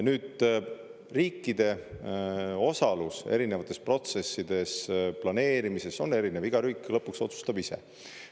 Nüüd, riikide osalus erinevates protsessides, planeerimises on erinev, iga riik lõpuks otsustab ise.